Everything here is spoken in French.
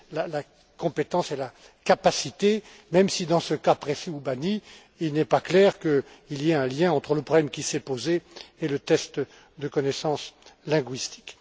la compétence et la capacité, même si dans ce cas précis ou banni, il n'est pas clair qu'il y ait un lien entre le problème qui s'est posé et le test de connaissance linguistique.